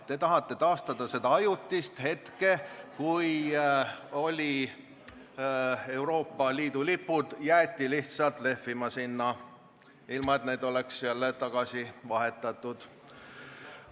Te tahate taastada seda ajutist olukorda, kui saalis olid Euroopa Liidu lipud ja jäeti lihtsalt lehvima sinna, ilma et need oleks jälle tagasi vahetatud.